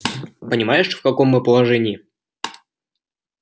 понимаешь в каком мы положении